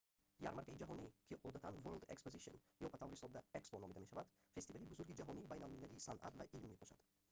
ярмаркаи ҷаҳонӣ ки одатан world exposition ё ба таври сода expo номида мешавад фестивали бузурги ҷаҳонии байналмилалии санъат ва илм мебошад